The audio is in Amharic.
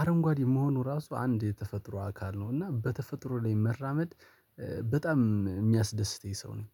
አረንጓዴ መሆኑ ራሱ አንድ የተፈጥሮ አካል ነው። እና በተፈጥሮ ላይ መራመድ በጣም የሚያስደስተኝ ሰው ነኝ